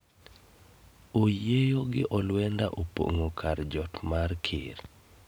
Oyieyo gi olwenda opong'o kar jot mar ker